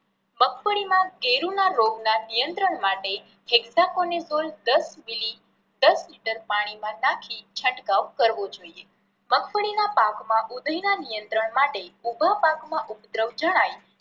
મગફળી માં કેરું ના રોગ ના નિયત્રંણ માટે દસ મિલી દસ લિટર પાણી માં નાખી છંટકાવ કરવો જોઈએ. મગફળી ના પાક માં ઊધઈ ના નિયત્રંણ માટે ઊભા પાક માં ઉપદ્રવ જણાય